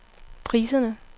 priserne